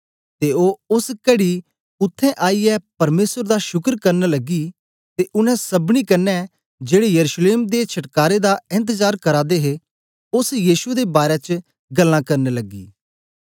ते ओ ओस कड़ी उत्थें आईयै परमेसर दा शुकर करन लगी ते उनै सबनी कन्ने जेड़े यरूशलेम दे छटकारे दा एन्तजार करा दे हे ओस यीशु दे बारै च गल्लां करन लगी